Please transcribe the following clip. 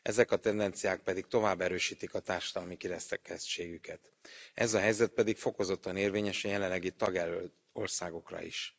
Ezek a tendenciák pedig tovább erősítik a társadalmi kirekesztettségüket. Ez a helyzet pedig fokozottan érvényes a jelenlegi tagjelölt országokra is.